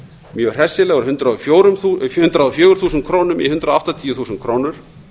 mjög hressilega úr hundrað og fjögur þúsund krónur í hundrað áttatíu þúsund krónur